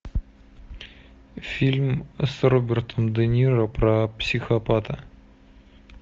фильм с робертом де ниро про психопата